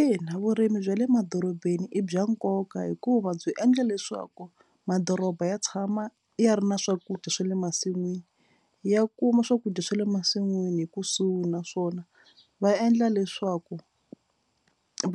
Ina vurimi bya le madorobeni i bya nkoka hikuva byi endla leswaku madoroba ya tshama ya ri na swakudya swa le masin'wini. Ya kuma swakudya swa le masin'wini hi kusuhi naswona va endla leswaku